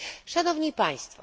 Szanowni Państwo!